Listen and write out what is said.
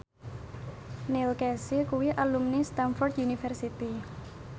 Neil Casey kuwi alumni Stamford University